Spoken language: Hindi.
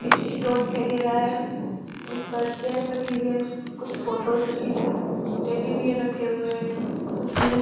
एक स्टोर दिखाई दे रहा है उस पर चेयर्स रखी हुई है कुछ फोटोज रखी हुई है टेडी बियर रखे हुए हैं कुछ --